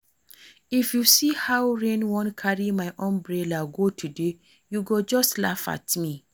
If you see how rain wan carry my umbrella go today you go just laugh at me